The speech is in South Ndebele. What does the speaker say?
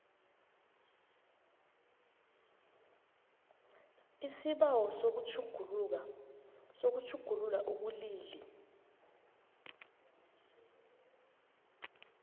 isibawo sokutjhugulula ubulili